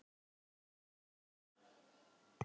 Kristín Ósk.